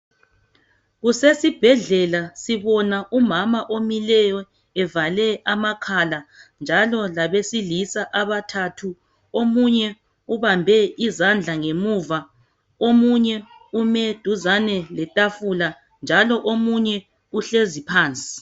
Kusesibhedlela sibona umama omileyo evale amakhala njalo labesilisa abathathu omunye ubambe izandla ngemuva, omunye ume duzane letafula njalo omunye uhlezi phansi.